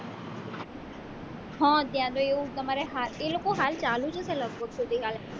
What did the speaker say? હ ત્યાં તો એવું હોય તમારે એ લોકો હાલ ચાલુ છે કે લગભગ તો